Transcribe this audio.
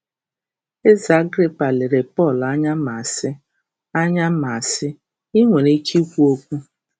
Eze Agrịpa lere Pọl anya ma sị: anya ma sị: ‘I nwere ike ikwu okwu’